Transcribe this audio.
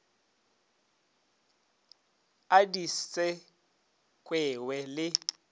a di se kwewe le